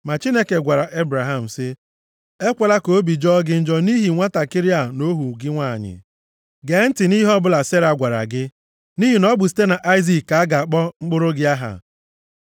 Ma Chineke gwara Ebraham sị, “Ekwela ka obi jọọ gị njọ nʼihi nwantakịrị a na ohu gị nwanyị. Gee ntị nʼihe ọbụla Sera gwara gị. Nʼihi na ọ bụ site nʼAịzik ka a ga-akpọ mkpụrụ gị aha.